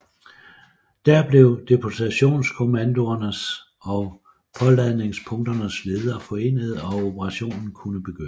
Der blev deportationskommandoernes og påladningspunkternes ledere forenede og operationen kunne begynde